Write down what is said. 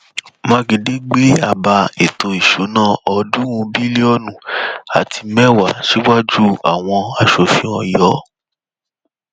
mákindé gbé àbá ètò ìṣúná ọọdúnrún bílíọnù àti mẹwàá síwájú àwọn asòfin ọyọ